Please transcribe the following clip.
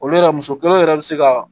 Olu yɛrɛ muso kelen yɛrɛ bɛ se ka